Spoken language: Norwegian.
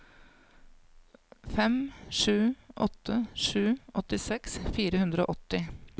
fem sju åtte sju åttiseks fire hundre og åtti